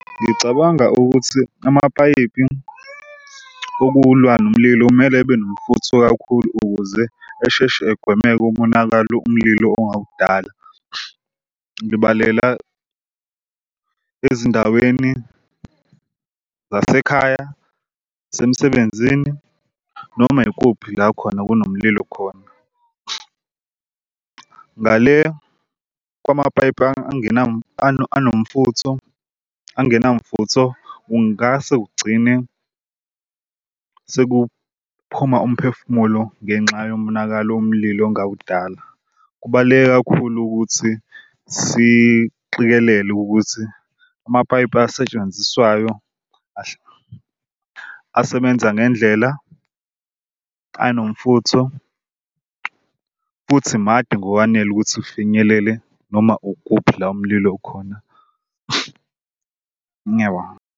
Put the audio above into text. Ngicabanga ukuthi amapayipi okulwa nomlilo kumele ebenomfutho kakhulu ukuze esheshe egwemeke umonakalo umlilo ongawadala. Ngibalela ezindaweni zasekhaya isemsebenzini noma ikuphi la khona kunomlilo khona. Ngale kwamapayipi anomfutho angenamfutho ungase ugcine sekuphuma umphefumulo ngenxa yomonakalo umlilo ongawudala. Kubaluleke kakhulu ukuthi siqikelele ukuthi amapayipi asetshenziswayo asebenza ngendlela anomfutho futhi made ngokwanele ukuthi ufinyelele noma ukuphi la umlilo ukhona. Ngiyabonga.